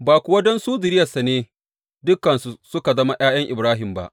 Ba kuwa don su zuriyarsa ne dukansu suka zama ’ya’yan Ibrahim ba.